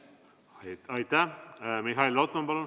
Mihhail Lotman, palun!